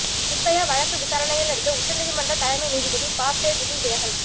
நிர்பயா வழக்கு விசாரணையில் இருந்து உச்சநீதிமன்ற தலைமை நீதிபதி பாப்டே திடீர் விலகல்